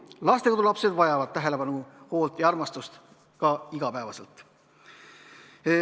Lastekodulapsed vajavad tähelepanu, hoolt ja armastust iga päev.